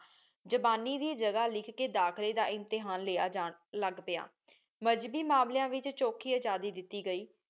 ਜਾਪਾਨੀ ਵੀ ਜਗਾਹ ਲਿਖ ਕਹ ਦਾਖਲੀ ਦਾ ਇਮਤਿਹਾਨ ਲਿਆ ਜਾਂ ਲਾਗ ਪ੍ਯ ਮਜ਼ਹਬੀ ਮਾਮ੍ਲ੍ਯਾ ਵਿਚ ਚੋਖੀ ਆਜ਼ਾਦੀ ਦਿਤੀ ਗਈ